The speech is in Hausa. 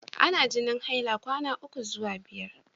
Ana jinin haila kwana ukwu zuwa biyar.